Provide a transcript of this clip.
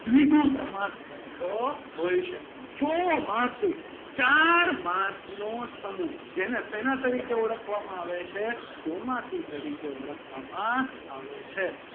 દ્વિગુ સમાસ બનતો હોય છે. ચોમાસુ ચાર માસનો સમૂહ જેને શેના તરીકે ઓળખવામાં આવે છે ચોમાસુ તરીકે ઓળખવામાં આવે છે.